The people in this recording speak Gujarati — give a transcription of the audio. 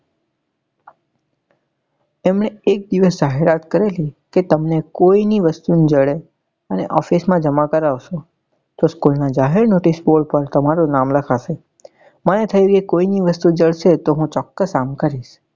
એમને એક દિવસ જાહેરાત કરેલી કે તમને કોઈ ની વસ્તુ જડે એને office માં જમા કરાવસો તો school નાં જાહેર notice board પર તમારું નામ લખાશે મને થયું કોઈ ની વસ્તુ જડશે તો હું ચોક્કસ આમ કરીશ.